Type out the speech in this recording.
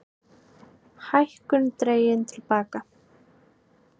Hækkun dregin til baka